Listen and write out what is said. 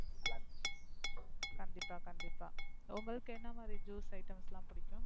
கண்டிப்பா கண்டிப்பா. உங்களுக்கு எந்த மாதிரி Juice item பிடிக்கும்.